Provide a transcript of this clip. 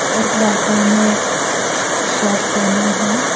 एक लड़का ने श शर्ट पहना हैं।